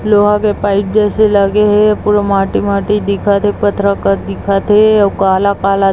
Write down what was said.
लोहा के पाइप जैसे लगे हे पूरा माटी-माटी दिखत थे अउ पथरा काट दिखत थे काला-काला--